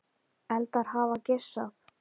Eldar hafa geisað